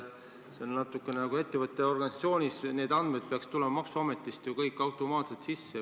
Ettevõtte ja organisatsiooni need andmed peaksid tulema maksuametist automaatselt sisse.